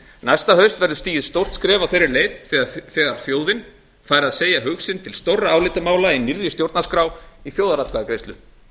næsta haust verður stigið stórt skref á þeirri leið þegar þjóðin fær að segja hug sinn til stórra álitamála í nýrri stjórnarskrá í þjóðaratkvæðagreiðslu